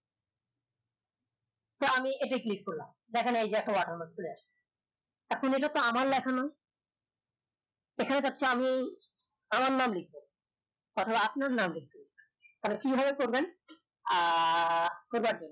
তো আমি এতে click করলাম দেখেন এই যে একটা water mark চলে আসছে এখন এটা তো আমার লেখা নয় আমি আমার নাম লেখব অথবা আপনার নাম লেখব তা হলে কি ভাবে করবেন আহ